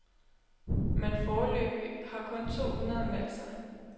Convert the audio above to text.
Men foreløbig har kun to hundrede meldt sig.